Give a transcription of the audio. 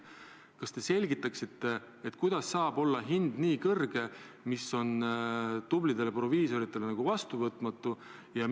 Kas te selgitaksite, kuidas saab olla hind nii kõrge, et see on tublidele proviisoritele vastuvõtmatu?